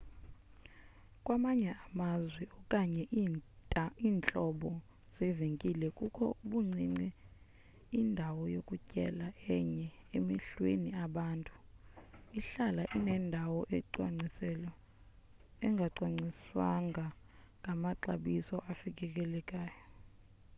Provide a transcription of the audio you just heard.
kwamanye amazwe okanye iintlobo zeevenkile kukho ubuncinci indawo yokutyela enye emehlweni abantu ihlala inendawo engacwangciswanga ngamaxabiso afikelelekayo